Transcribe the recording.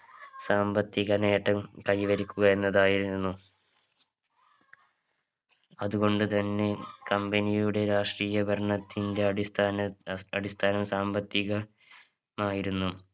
സാമ്പത്തിക നേട്ടം കൈവരിക്കുക എന്നതായിരുന്നു അതു കൊണ്ട് തന്നെ company യുടെ രാഷ്ട്രീയ ഭരണത്തിന്റെ അടിസ്ഥാന അസ് അടിസ്ഥാന സാമ്പത്തിക മായിരുന്നു